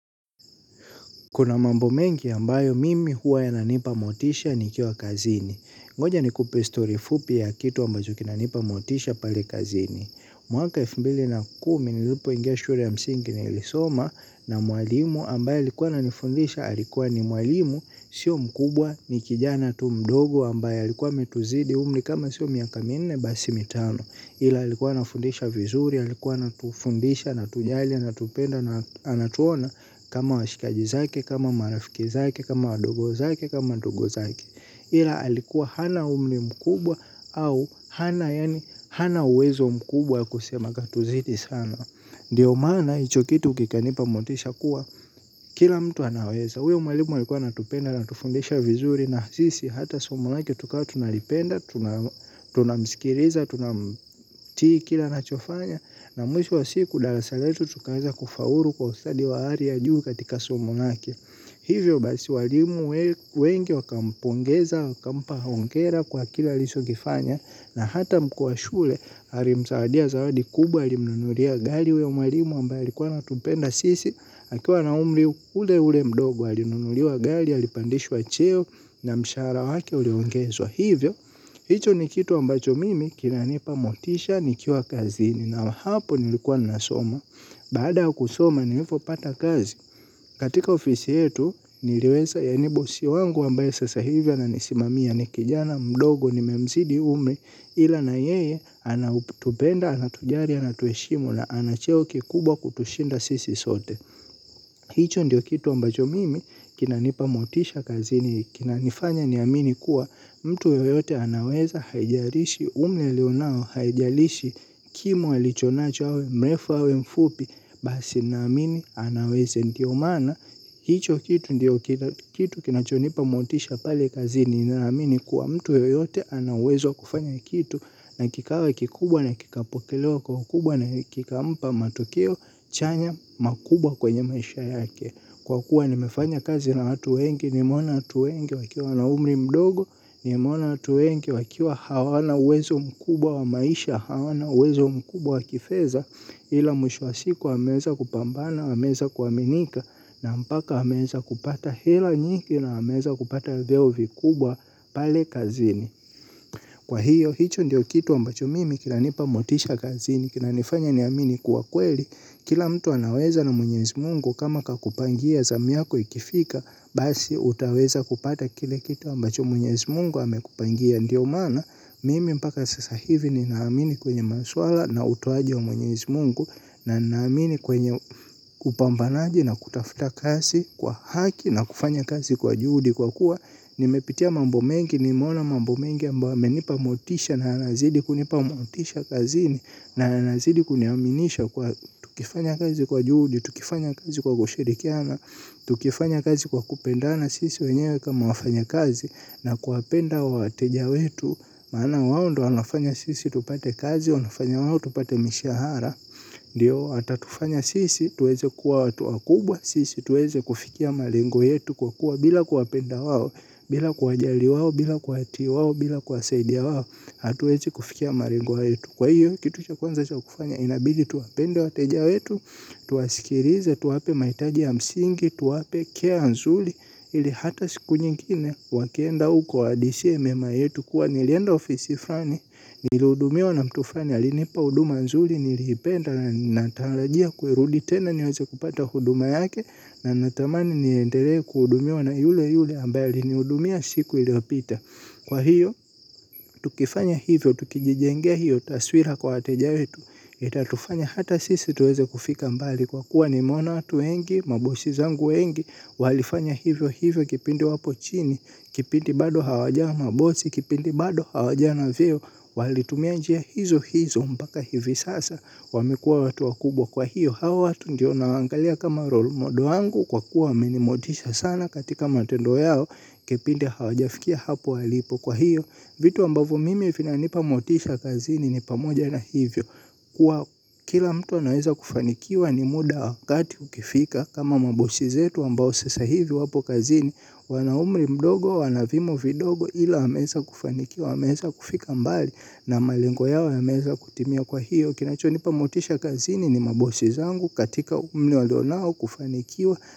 Kuna mambo mengi ambayo mimi huwa yananipa motisha nikiwa kazini. Ngoja nikupe stori fupi ya kitu ambacho kinanipa motisha pale kazini. Mwaka elfu mbili na kumi ni lipo ingia shure ya msingi ni ilisoma na mwalimu ambaye alikuwa ana nifundisha alikuwa ni mwalimu sio mkubwa ni kijana tu mdogo ambaye alikuwa ametuzidi umli kama sio miaka minne basi mitano. Ila alikuwa na fundisha vizuri, alikuwa anatufundisha, anatujali, anatupenda, anatuona kama washikaji zake, kama marafiki zake, kama wadogo zake, kama ndugu zake ila alikuwa hana umli mkubwa au hana yani hana uwezo mkubwa kusema katuzidi sana ndiyo maana hicho kitu kikanipa motisha kuwa kila mtu anaweza huyo mwalimu alikua anatupenda anatufundisha vizuri na sisi hata somo lake tukawa tunalipenda, tunamsikiriza, tunamtii kila anachofanya. Na mwisho wa siku dalasaletu tukaweza kufauru kwa ufsadi wa hari ya juu katika somo lake. Hivyo basi walimu wengi waka mpongeza, wakampa hongera kwa kile alisho kifanya. Na hata mkuu wa shule arimsawadia zawadi kubwa alimunuria gali uyo mwalimu ambaye alikua anatupenda sisi. Akiwa na umri ule ule mdogo alinunuliwa gali ya lipandishwa cheo na mshahara wake uliongezo hivyo. Hicho ni kitu ambacho mimi kina nipa motisha nikiwa kazini na hapo nilikuwa nasoma. Baada ya kusoma nilipo pata kazi. Katika ofisi yetu niliweza yaanibosi wangu ambaye sasa hivi ana nisimamia ni kijana mdogo ni memzidi huume. Ila na yeye anautubenda, anatujari, anatueshimu na anacheo kikubwa kutushinda sisi sote. Hicho ndiyo kitu ambacho mimi kina nipa motisha kazi ni kina nifanya ni amini kuwa mtu yoyote anaweza haijarishi umli alionao haijarishi kimo alichonacho awe mrefa awe mfupi basi na amini anaweze ndiyo maana. Hicho kitu ndiyo kitu kinachonipa motisha pale kazini ninaamini kuwa mtu yoyote anauwezo wa kufanya kitu na kikawa kikubwa na kikapokelewa kwa ukubwa na kikampa matukio chanya makubwa kwenye maisha yake. Kwa kuwa nimefanya kazi na watu wengi, nimeona watu wengi wakiwa na umri mdogo, nimeona watu wengi wakiwa hawana uwezo mkubwa wa maisha, hawana uwezo mkubwa wa kifeza, ila mwisho wasiku ameeza kupambana, ameza kuaminika, na mpaka ameeza kupata hela nyingi na ameeza kupata vyeo vikubwa pale kazini. Kwa hiyo, hicho ndiyo kitu ambacho mimi kinanipa motisha kazini, kinanifanya ni amini kuwa kweli, kila mtu anaweza na mwenyezi mungu kama kakupangia zamu yako ikifika, basi utaweza kupata kile kitu ambacho mwenyezi mungu amekupangia ndiyo maana, mimi mpaka sasa hivi ni naamini kwenye maswala na utoaji wa mwenyezi mungu, na naamini kwenye kupambanaji na kutafuta kazi kwa haki na kufanya kazi kwa juhudi kwa kuwa, nimepitia mambomengi, nimeona mambo mengi ambayo yamenipa motisha na yanazidi kunipa motisha kazini. Na yanazidi kuniaminisha kuwa tukifanya kazi kwa juhudi, tukifanya kazi kwa kushirikiana tukifanya kazi kwa kupendana sisi wenyewe kama wafanya kazi na kuwapenda wateja wetu maana wao ndo wanafanya sisi tupate kazi, wanafanya wao tupate mishahara ndio, atatufanya sisi, tuweze kuwa tuwakubwa sisi, tuweze kufikia malengo yetu kwa kuwa bila kuwapenda wao bila kuwajali wao, bila kwa hati wawo, bila kwa saidia wawo. Hatuezi kufikia malengwa yetu. Kwa hiyo, kitu cha kwanza cha kufanya inabidi tuwapende wateja wetu. Tuwasikirize, tuwape mahitaji ya msingi, tuwape kea nzuli ili hata siku nyingine, wakienda uko wahadishie mema yetu. Kuwa nilienda ofisi frani, niludumiwa na mtu flani, alinipa huduma nzuli. Niliipenda, na ninatalajia kuirudi tena, niweze kupata huduma yake. Na natamani niendelee kuhudumiwa na yule yule ambaye alinihudumia siku iliyopita. Kwa hiyo, tukifanya hivyo, tukijijengea hiyo, taswira kwa wateja wetu itatufanya hata sisi tuweze kufika mbali kwa kuwa nimeona watu wengi, mabosi zangu wengi walifanya hivyo hivyo kipindi wapo chini, kipindi bado hawajawa mabosi, kipindi bado hawajawa na vyeo. Walitumia njia hizo hizo mpaka hivi sasa, wamekuwa watu wakubwa kwa hiyo hawa watu ndio na waangalia kama rolmodo wangu kwa kuwa wameni motisha sana katika matendo yao. Kipindi hawa jafikia hapo walipo kwa hiyo vitu ambavo mimi vina nipa motisha kazini ni pamoja na hivyo. Kuwa kila mtu anaweza kufanikiwa ni muda wakati ukifika. Kama mabosi zetu ambao sasa hivi wapo kazini. Wanaumri mdogo wanavimo vidogo ila wameeza kufanikiwa wameeza kufika mbali. Na malengo yao yameeza kutimia kwa hiyo kinachonipa motisha kazini ni mabosi zangu katika umli walionao kufanikiwa.